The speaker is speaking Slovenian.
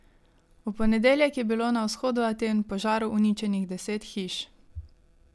V ponedeljek je bilo na vzhodu Aten v požaru uničenih deset hiš.